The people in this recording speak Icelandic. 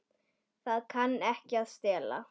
Það kann ekki að stela.